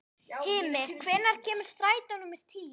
Hymir, hvenær kemur strætó númer tíu?